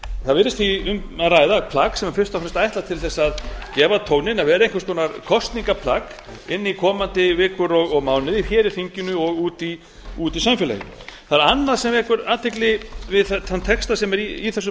það virðist því um að ræða plagg sem er fyrst og fremst ætlað til að gefa tóninn að vera einhvers konar kosningaplagg inn í komandi vikur og mánuði hér í þinginu og úti í samfélaginu það er annað sem vekur athygli við þann texta sem er í þessu